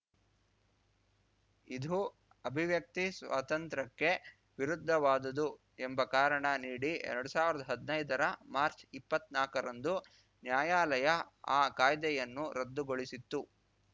ಇದು ಅಭಿವ್ಯಕ್ತಿ ಸ್ವಾತಂತ್ರ್ಯಕ್ಕೆ ವಿರುದ್ಧವಾದುದು ಎಂಬ ಕಾರಣ ನೀಡಿ ಎರಡ್ ಸಾವಿರ್ದಾ ಹದ್ನೈದರ ಮಾರ್ಚ್ಇಪ್ಪತ್ನಾಲ್ಕರಂದು ನ್ಯಾಯಾಲಯ ಆ ಕಾಯ್ದೆಯನ್ನು ರದ್ದುಗೊಳಿಸಿತ್ತು